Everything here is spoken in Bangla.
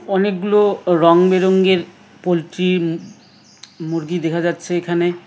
অনেকগুলো রং বেরঙের পোলট্রি মুরগি দেখা যাচ্ছে এখানে।